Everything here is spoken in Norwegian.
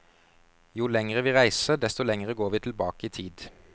Jo lengre vi reiser, desto lengre går vi tilbake i tid.